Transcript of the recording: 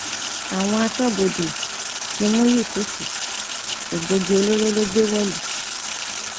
àwọn aṣọbodè ti mú yùsùfẹ egbòogi olóró ló gbé wọlú